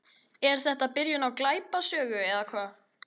Er þetta byrjun á glæpasögu eða hvað?